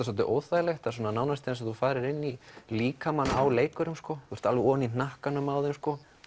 soldið óþægilegt nánast eins og þú farir inn líkamann á leikurum þú ert alveg oní hnakkanum á þeim og